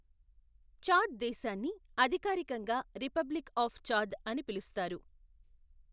Chad దేశాన్ని అధికారికంగా republic of Chad అని పిలుస్తారు.